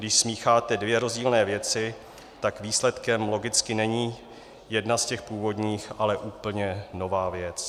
Když smícháte dvě rozdílné věci, tak výsledkem logicky není jedna z těch původních, ale úplně nová věc.